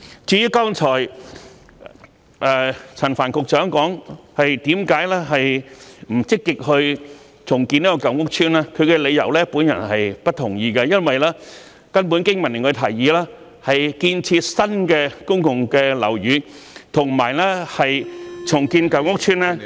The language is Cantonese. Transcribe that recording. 至於剛才陳帆局長解釋為何不積極重建舊屋邨，他的理由，我並不同意，因為經民聯的提議是建設新的公共樓宇，與重建舊屋邨......